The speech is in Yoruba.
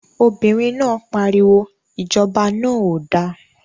Obìnrin náà pariwo, Ìjọba náà ò da!